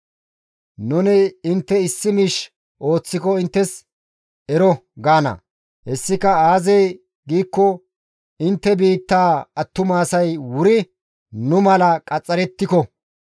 Nuni intte issi miish ooththiko inttes, ‹Ero› gaana; hessika aazee giikko intte biittaa attuma asay wuri nu mala qaxxarettiko.